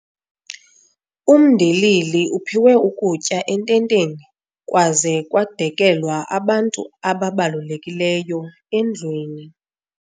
Umndilili uphiwe ukutya ententeni kwaze kwadekelwa abantu ababalulekileyo endlwini.